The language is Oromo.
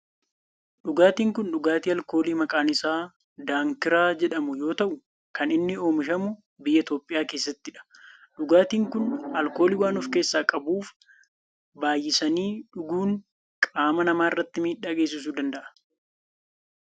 Dhugaatiin kun dhugaatii alkoolii maqaan isaa daankiraa jedhamu yoo ta'u kan inni oomishamu biyya Itiyoophiyaa keessattidha. Dhugaatin kun alkoolii waan of keessaa qabuf baayyisanii dhuguun qaama namaa irratti miidhaa geessisuu danda'a.